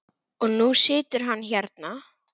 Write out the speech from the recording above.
Og nú situr hann hérna.